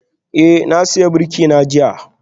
Eh, na sayi birki na jiya